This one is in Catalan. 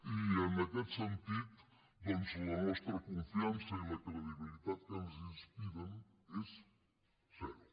i en aquest sentit doncs la nostra confiança i la credibilitat que ens inspiren és zero